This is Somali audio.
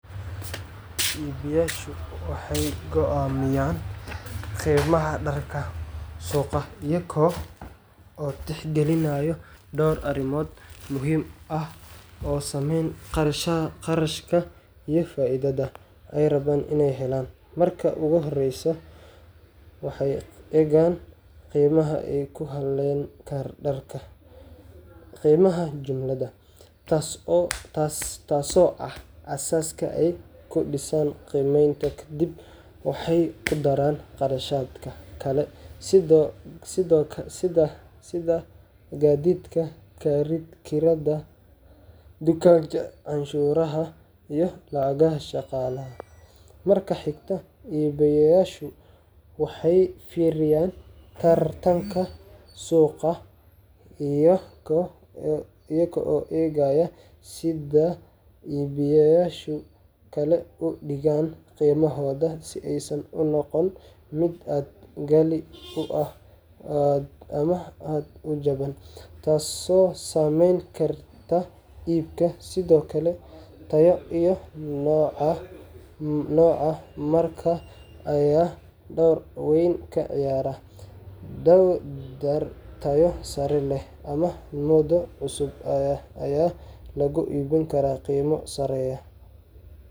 Mugyasho waxay kovamiyan, qimaha darka suuqa eyago kalbinayo door arimoot oo muhim aah oo sameeyn qarashka iyo faithada ay raban inay helan marka ugu horeysoh waxay Egan qimaha ee ay kuhalenka darka, qimaha jumlada Tasso aah asasi kudisan qimeynta kadib waxay kudarsan qarshatka Kali seda kathetka kerada dukanga canshuraha iyo lacagaha shaqalaha, marka xegtah ee waxay feriyan bartanga suuqa iyago egaya si sulida iyo biyaysha Kali u digan qimahooda sibaysan u noqon mid aa qhali u aah amah aad u jaban taaso sameeyni kartah ibka sedokali taya iyo noco marka Aya door weyn kaciyarah dooy taysara leeh amah muda cusub Aya lagoynkarah Qima sameeyoh.